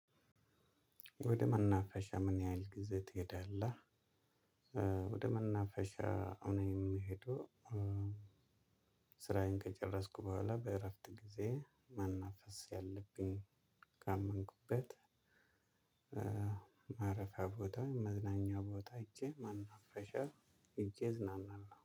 ወደ መናፈሻ ምን ያህል ጊዜ ትሄዳለህ? ወደ መናፈሻ እኔ የምሄደው ስራዬን ከጨረስኩ ቡሃላ በእረፍት ጊዜየ መናፈስ ያለብኝ። ካመንኩበት ማረፊያ ቦታ መዝናኛ ቦታ ሂጄ መናፈሻ። ሂጄ እዝናናለሁ